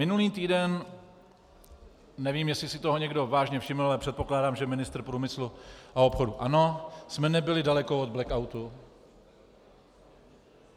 Minulý týden, nevím, jestli si toho někdo vážně všiml, ale předpokládám, že ministr průmyslu a obchodu ano, jsme nebyli daleko od blackoutu.